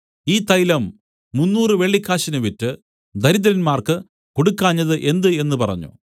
ഈ തൈലം മുന്നൂറു വെള്ളിക്കാശിന് വിറ്റ് ദരിദ്രന്മാർക്ക് കൊടുക്കാഞ്ഞത് എന്ത് എന്നു പറഞ്ഞു